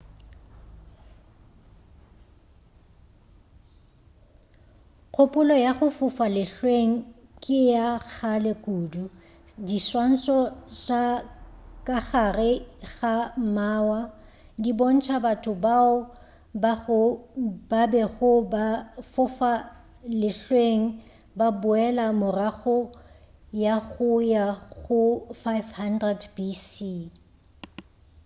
kgopolo ya go fofa lehlweng ke ya kgale kudu diswantšho tša ka gare ga mawa di bontša batho bao ba bego fa fofa lehlweng go boela morago go ya go 5000 bc